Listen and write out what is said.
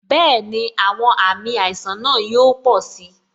Bẹẹni, àwọn àmì àìsàn náà yóò pò si